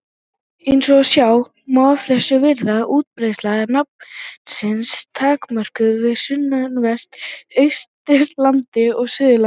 Eins og sjá má af þessu virðist útbreiðsla nafnsins takmörkuð við sunnanvert Austurland og Suðurland.